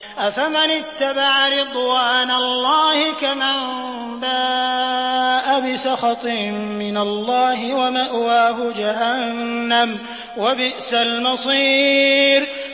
أَفَمَنِ اتَّبَعَ رِضْوَانَ اللَّهِ كَمَن بَاءَ بِسَخَطٍ مِّنَ اللَّهِ وَمَأْوَاهُ جَهَنَّمُ ۚ وَبِئْسَ الْمَصِيرُ